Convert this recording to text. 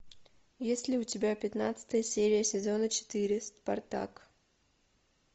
есть ли у тебя пятнадцатая серия сезона четыре спартак